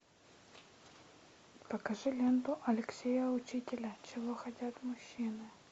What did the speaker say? покажи ленту алексея учителя чего хотят мужчины